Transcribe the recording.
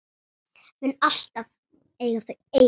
Mun alltaf eiga þau ein.